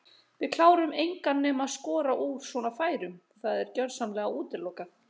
Við klárum engan nema skora úr svona færum það er gjörsamlega útilokað.